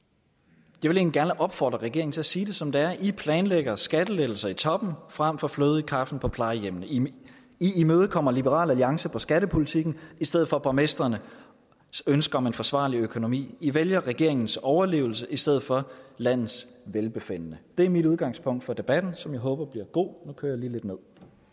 jeg vil egentlig gerne opfordre regeringen til at sige det som det er i planlægger skattelettelser i toppen frem for fløde i kaffen på plejehjemmene i imødekommer liberal alliance på skattepolitikken i stedet for borgmestrenes ønske om en forsvarlig økonomi i vælger regeringens overlevelse i stedet for landets velbefindende det er mit udgangspunkt for debatten som jeg håber bliver god nu